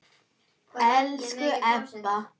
Elsku Ebba.